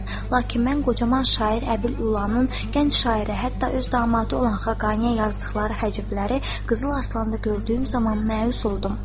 Lakin mən qocaman şair Əbül Ülanın, gənc şairə, hətta öz damadı olan Xaqaniyə yazdıqları həcbləri Qızıl arslanda gördüyüm zaman məyus oldum.